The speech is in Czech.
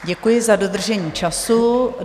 Děkuji za dodržení času.